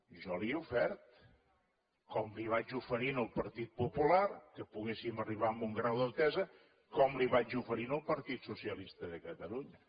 jo li he ofert com li ho vaig oferir al partit popular que poguéssim arribar a un grau d’entesa com li ho vaig oferir al partit socialista de catalunya